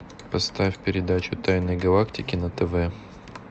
поставь передачу тайны галактики на тв